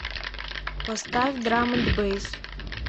поставь драм энд бэйс